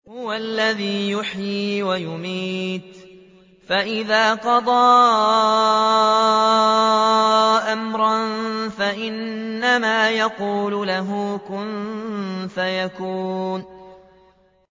هُوَ الَّذِي يُحْيِي وَيُمِيتُ ۖ فَإِذَا قَضَىٰ أَمْرًا فَإِنَّمَا يَقُولُ لَهُ كُن فَيَكُونُ